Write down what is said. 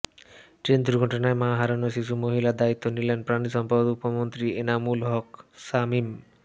train দুর্ঘটনায় মা হারানো শিশু মাহিমার দায়িত্ব নিলেন পানিসম্পদ উপমন্ত্রী এনামুল হক শামীম